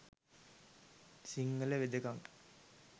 සිංහල වෙදකම